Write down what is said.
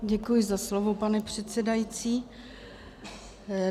Děkuji za slovo, pane předsedající.